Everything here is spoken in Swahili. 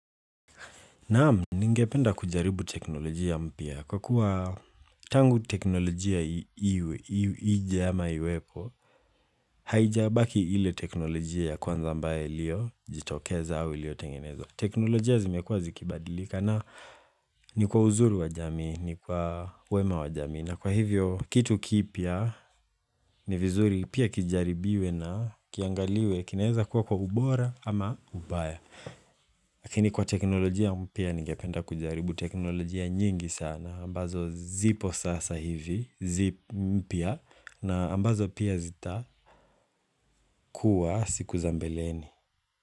Naam, ningependa kujaribu teknolojia mpya Kwa kuwa tangu teknolojia ije ama iwepo, haijabaki ile teknolojia ya kwanza ambaye iliyo, jitokeza au iliyotengenezwa teknolojia zimekuwa zikibadilika na ni kwa uzuri wa jamii, ni kwa wema wa jamii. Na kwa hivyo, kitu kipya ni vizuri pia kijaribiwe na kiangaliwe, kinaeza kuwa kwa ubora ama ubaya. Lakini kwa teknolojia mpya ningependa kujaribu teknolojia nyingi sana, ambazo zipo sasa hivi, mpya, na ambazo pia zita kuwa siku za mbeleni.